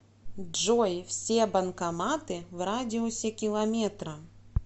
джой все банкоматы в радиусе километра